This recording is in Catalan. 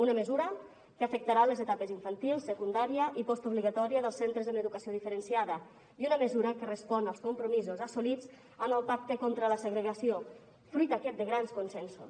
una mesura que afectarà les etapes infantil secundària i postobligatòria dels centres amb educació diferenciada i una mesura que respon als compromisos assolits en el pacte contra la segregació fruit aquest de grans consensos